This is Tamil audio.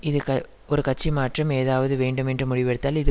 இது க ஒரு கட்சி மாற்றம் ஏதாவது வேண்டும் என்று முடிவெடுத்தால் இது